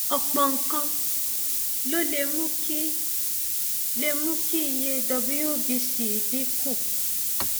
ọpọ nǹkan ló lè mú kí lè mú kí iye wbc dín kù